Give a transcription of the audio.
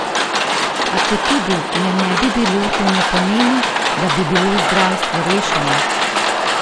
A četudi je ne bi bilo, to ne pomeni, da bi bilo zdravstvo rešeno!